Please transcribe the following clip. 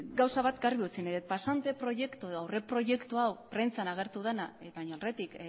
gauza bat garbi utzi nahi dut pasante proiektu edo aurreproiektu hau prentsan agertu dena baina aurretik